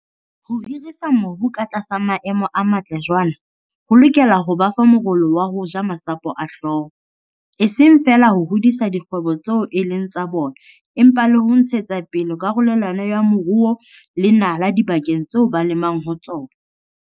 Ho hirisa mobu ka tlasa maemo a matle jwaana ho lokela ho ba fa morolo wa ho ja masapo a hlooho, e seng feela ho hodisa dikgwebo tseo e leng tsa bona empa le ho ntshetsa pele karolelano ya moruo le nala dibakeng tseo ba lemang ho tsona.